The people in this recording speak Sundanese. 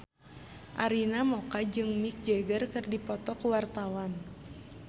Arina Mocca jeung Mick Jagger keur dipoto ku wartawan